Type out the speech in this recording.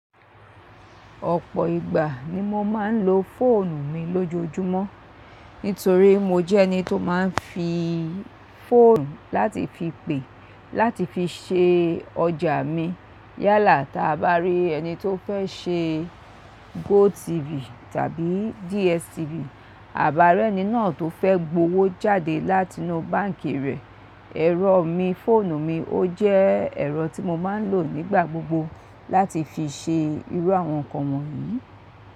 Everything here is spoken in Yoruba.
Ọ̀pọ̀ ìgbà ni mo máa ń lo fóònù mi lójoojúmọ́. Nítorí mo jẹ́ ẹni tó máa ń fi fóònù láti fi pè, láti fi ṣe ọjà mi. Yálà táa bá rí ẹni tó fẹ́ ṣe GoTv tàbí DStv, àbá rẹ́ ẹni náà tó fẹ́ gbówó jáde látinú báǹkì rẹ̀. Ẹ̀rọ mi, fóònù mi ó jẹ́ ẹ̀rọ tí mo máa ń lò nígbà gbogbo láti fi ṣe irú àwọn nǹkan wọ̀nyí.